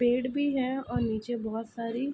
पेड़ भी है और नीचे बहुत सारी --